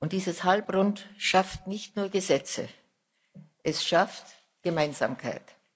Dieses Halbrund schafft nicht nur Gesetze es schafft Gemeinsamkeit.